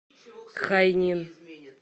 хайнин